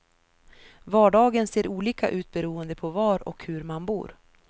Vardagen ser olika ut beroende på var och hur man bor.